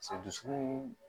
dusukun